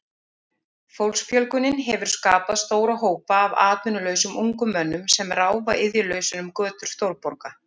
Fólksfjölgunin hefur skapað stóra hópa af atvinnulausum ungum mönnum sem ráfa iðjulausir um götur stórborga.